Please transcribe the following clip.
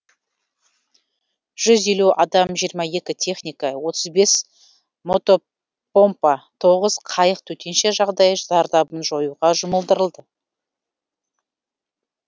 жүз елу адам жиырма екі техника отыз бес мотопомпа тоғыз қайық төтенше жағдай зардабын жоюға жұмылдырылды